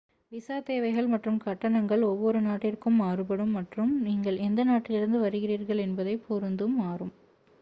visa தேவைகள் மற்றும் கட்டணங்கள் ஒவ்வொரு நாட்டிற்கும் மாறுபடும் மற்றும் நீங்கள் எந்த நாட்டிலிருந்து வருகிறீர்கள் என்பதைப் பொருத்தும் மாறும்